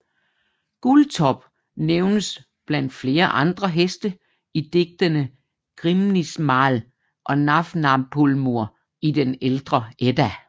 Guldtop nævnes blandt flere andre heste i digtene Grímnismál og Nafnaþulur i den Ældre Edda